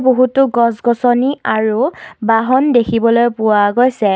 বহুটো গছ-গছনি আৰু বাহন দেখিবলৈ পোৱা গৈছে।